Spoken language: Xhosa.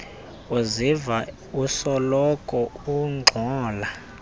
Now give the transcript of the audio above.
uzive usoloko ungxola